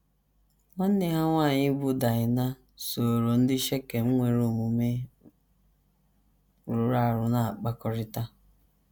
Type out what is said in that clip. Nwanne ha nwanyị bụ́ Daịna sooro ndị Shekem nwere omume rụrụ arụ na - akpakọrịta.